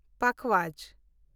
ᱯᱟᱠᱷᱟᱣᱟᱡᱽ